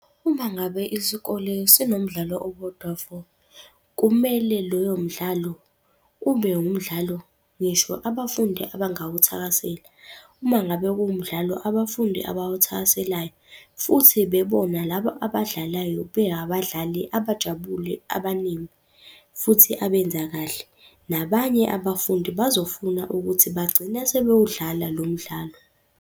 Uma ngabe isikole sinomdlalo owodwa vo, kumele loyo mdlalo ube wumdlalo ngisho abafundi abangawuthakasela. Uma ngabe kuwumdlalo abafundi abawuthakaselayo futhi bebona laba abadlalayo be abadlali abajabule abaningi, futhi abenza kahle. Nabanye abafundi bazofuna ukuthi bagcine sebewudlala lo mdlalo.